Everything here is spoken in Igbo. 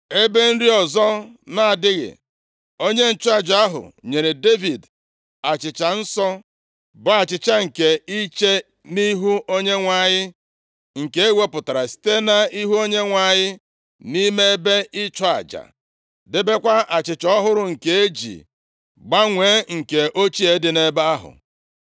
Ebe nri ọzọ na-adịghị, onye nchụaja ahụ nyere Devid achịcha nsọ, bụ achịcha nke iche nʼIhu Onyenwe anyị, nke ewepụtara site nʼihu Onyenwe anyị nʼime ebe ịchụ aja, debekwa achịcha ọhụrụ nke e ji gbanwee nke ochie dị nʼebe ahụ.